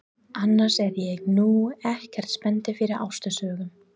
Annars er ég nú ekkert spenntur fyrir ástarsögum.